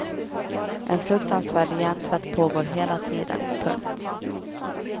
En fruktansvärd hjärntvätt pågår hela tiden. punkt